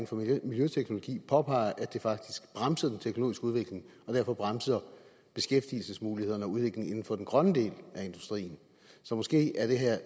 for miljøteknologi påpeger nemlig at det faktisk bremser den teknologiske udvikling og derfor bremser beskæftigelsesmulighederne og udviklingen inden for den grønne del af industrien så måske er det her